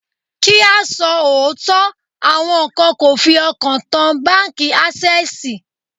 Kí á sọ òótọ́, àwọn kan kò fi ọkàn tán báńkì Ásẹ́sìì.